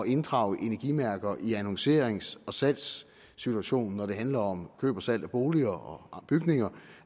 inddrage energimærker i annoncerings og salgssituationen når det handler om køb og salg af boliger og bygninger